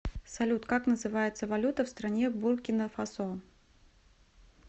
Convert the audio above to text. салют как называется валюта в стране буркина фасо